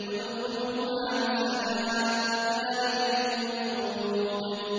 ادْخُلُوهَا بِسَلَامٍ ۖ ذَٰلِكَ يَوْمُ الْخُلُودِ